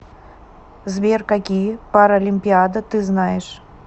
сбер какие паролимпиада ты знаешь